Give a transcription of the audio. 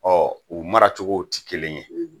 u mara cogow tɛ kelen ye.